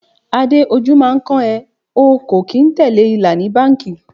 Adé, ojú máa ń kán ẹ, o kò kín tẹ̀lé ìlà ni báńkì.